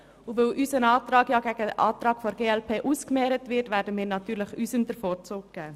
Da unser Antrag demjenigen der glp gegenübergestellt wird, werden wir natürlich unserem den Vorzug geben.